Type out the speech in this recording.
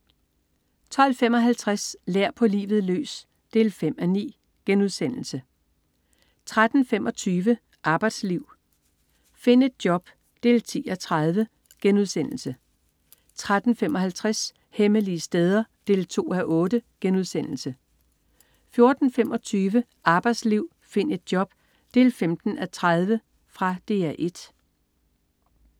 12.55 Lær på livet løs 5:9* 13.25 Arbejdsliv, find et job 10:30* 13.55 Hemmelige steder 2:8* 14.25 Arbejdsliv, find et job 15:30. Fra DR 1